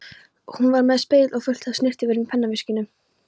Hún var með spegil og fullt af snyrtivörum í pennaveskinu.